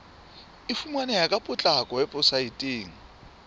e fumaneha ka potlako weposaeteng